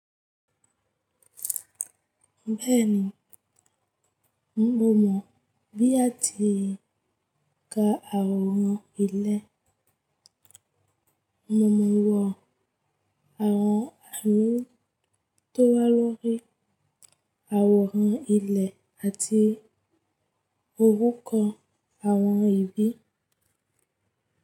Bẹ́ẹ̀ni, mo mọ̀ bí a ti ń ka àwòrán ilẹ̀. Mo mọ̀ wọ́n àwọn àmì tó wà lórí àwòrán ilẹ̀ àti orúkọ àwọn ibi.